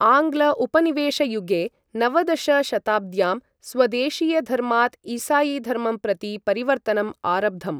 आङ्ग्ल उपनिवेशयुगे, नवदश शताब्द्यां स्वदेशीयधर्मात् ईसायीधर्मं प्रति परिवर्तनम् आरब्धम्।